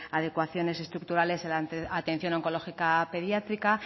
adecuaciones estructurales en la atención oncológica pediátrica